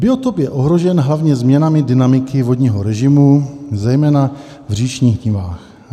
Biotop je ohrožen hlavně změnami dynamiky vodního režimu, zejména v říčních nivách.